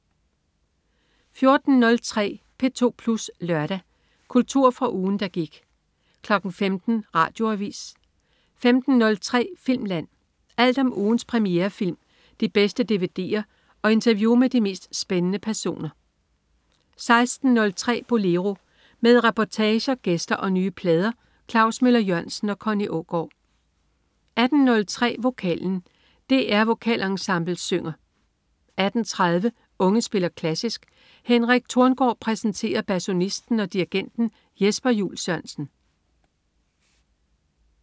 14.03 P2 Plus Lørdag. Kultur fra ugen, der gik 15.00 Radioavis 15.03 Filmland. Alt om ugens premierefilm, de bedste dvd'er og interview med de mest spændende personer 16.03 Bolero. Med reportager, gæster og nye plader. Klaus Møller-Jørgensen og Connie Aagaard 18.03 Vokalen. DR Vokalensemblet synger 18.30 Unge spiller klassisk. Henrik Thorngaard præsenterer basunisten og dirigenten Jesper Juul Sørensen